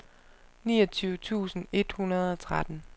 niogtyve tusind et hundrede og tretten